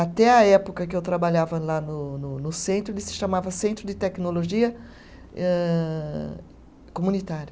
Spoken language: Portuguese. Até a época que eu trabalhava lá no no no centro, ele se chamava Centro de Tecnologia âh Comunitária.